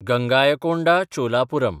Gangaikonda Cholapuram